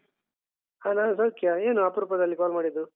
ಹ ನಾನು ಸೌಖ್ಯ ಏನು ಅಪರೂಪದಲ್ಲಿ call ಮಾಡಿದ್ದು?